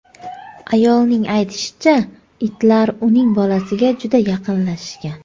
Ayolning aytishicha, itlar uning bolasiga juda yaqinlashgan.